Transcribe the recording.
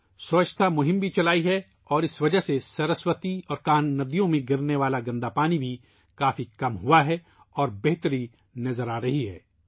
سووچھتا ابھیان بھی چلایا ہے اور اس وجہ سرسوتی اور کانہا دریاؤں میں گرنے والا گندا پانی بھی کافی حد تک کم ہوگیا ہے اور بہتری نظر آرہی ہے